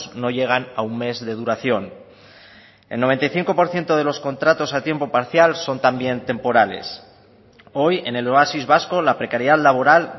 no llegan a un mes de duración el noventa y cinco por ciento de los contratos a tiempo parcial son también temporales hoy en el oasis vasco la precariedad laboral